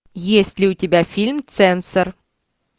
есть ли у тебя фильм цензор